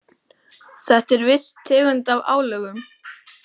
Þetta er viss tegund af álögum.